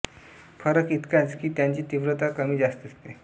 फरक इतकाच की त्याची तीव्रता कमी जास्त असते